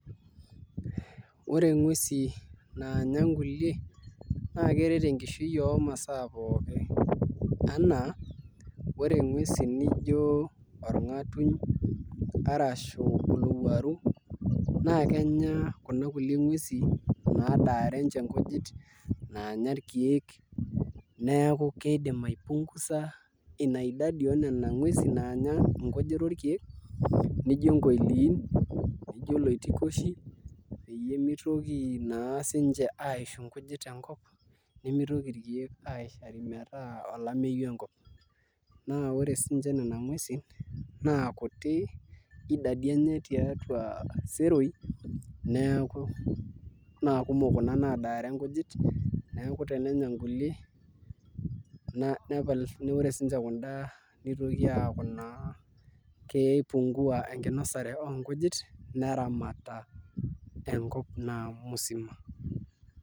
Ore nguesi naanya nkulie naa keret enkishui oonkulie nguesi pookin enaa nguesi nijio orngatuny arashu olowuaru naa kenya kuna kulie nguesi nadaare ninche nkujit naanya irkeek neeku kiidim aipungusa ina idadi oonena nguesi naanya nkujit orkeek nijio nkoiliin nijio iloitokoshi peyie mitoki naa sininche aishu nkujit tenkop nemitoki irkeek aishari metaa olameyu enkop naa ore siinche nena nguesi naa kuti idadi enye tiatua iseroii naa kumok kuna nadaare nkujit neeeku tenenya nkulie naa ore siinche kunda nitoki aaku kipungua enkinosare oonkujit neramata enkop naa musima.